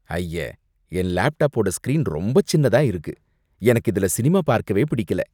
ஐய! என் லேப்டாப்போட ஸ்கிரீன் ரொம்ப சின்னதா இருக்கு. எனக்கு இதுல சினிமா பார்க்கவே பிடிக்கல.